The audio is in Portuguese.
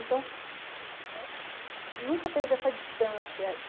Então, nunca teve essa distância.